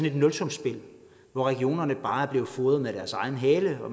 et nulsumsspil hvor regionerne bare er blevet fodret med deres egen hale og